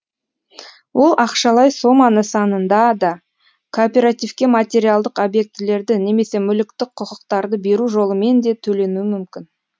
ол ақшалай сома нысанында да кооперативке материалдық объектілерді немесе мүліктік құқықтарды беру жолымен де төленуі мүмкін